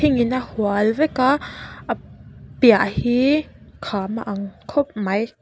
building in a hual vek a a a piah hi kham a ang khawp mai.